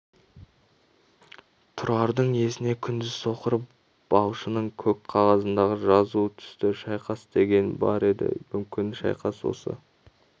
тұрардың есіне күндіз соқыр балшының көк қағазындағы жазу түсті шайқас деген бар еді мүмкін шайқас осы